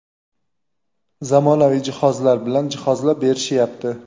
zamonaviy jihozlar bilan jihozlab berishyapti.